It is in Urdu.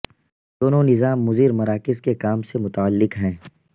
دونوں نظام مضر مراکز کے کام سے متعلق ہیں